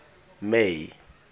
may